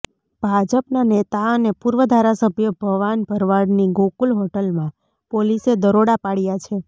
ભાજપના નેતા અને પૂર્વ ધારાસભ્ય ભવાન ભરવાડની ગોકુલ હોટલમાં પોલીસે દરોડા પાડ્યાં છે